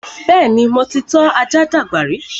Bẹ́ẹ̀ni, mo ti tọ́ ajá dàgbà rí